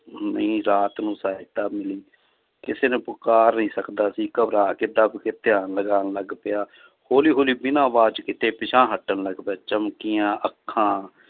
ਸਹਾਇਤਾ ਮਿਲੀ, ਕਿਸੇ ਨੂੰ ਪੁਕਾਰ ਨੀ ਸਕਦਾ ਸੀ ਘਬਰਾ ਕੇ ਦੱਬ ਕੇ ਧਿਆਨ ਲਗਾਉਣ ਲੱਗ ਪਿਆ ਹੌਲੀ ਹੌਲੀ ਬਿਨਾਂ ਆਵਾਜ਼ ਕੀਤੇ ਪਿੱਛਾਂਹ ਹਟਣ ਲੱਗ ਪਿਆ, ਚਮਕੀਆਂ ਅੱਖਾਂ